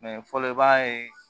fɔlɔ i b'a ye